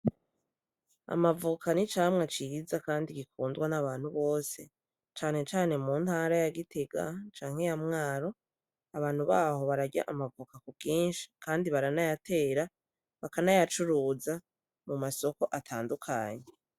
Amavoka ni icamwa ciza kandi gikundwa n' abantu benshi, cane cane mu ntara ya Gitega canke ya Mwaro, abantu baho bararya amavoka ku bwinshi kandi baranayatera, bakanayacuruza mu masoko atandukanye.